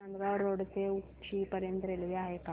Nandgaon road ते उक्षी पर्यंत railway आहे का